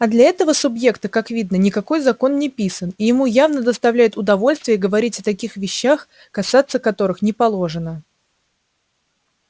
а для этого субъекта как видно никакой закон не писан и ему явно доставляет удовольствие говорить о таких вещах касаться которых не положено